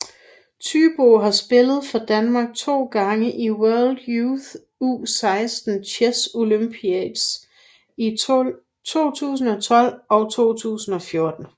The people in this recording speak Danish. Thybo har spillet for Danmark to gange i World Youth U16 Chess Olympiads i 2012 og 2014